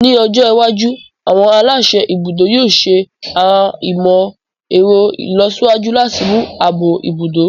Ní ọjọ́ iwájú, àwọn aláṣẹ ibùdó yóò ṣẹ àwọn ìmọ̀ ẹ̀rọ ìlọsíwájú láti mú ààbò ibùdó